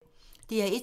DR1